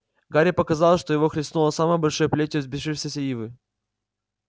гарри показалось что его хлестнуло самой большой плетью взбесившейся ивы